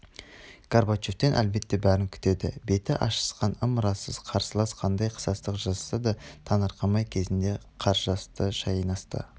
горбачевтен әлбетте бәрін күтеді беті ашысқан ымырасыз қарсылас қандай қысастық жасаса да таңырқамайды кезінде қаржасты шайнасты